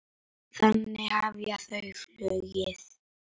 Þannig hefja þau flugið.